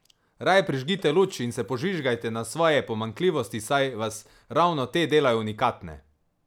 Raje prižgite luč in se požvižgajte na svoje pomanjkljivosti, saj vas ravno te delajo unikatne!